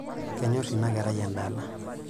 Kenyorr ina kerai endala.